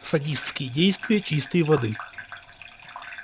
садистские действия чистой воды